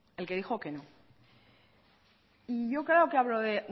el que dijo que no yo creo que hablo de